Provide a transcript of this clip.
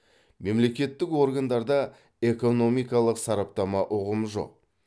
мемлекеттік органдарда экономикалық сараптама ұғымы жоқ